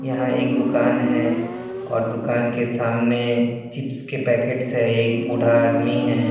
यहां एक दुकान है और दुकान के सामने चिप्स के पैकेट्स है एक बूढ़ा आदमी है।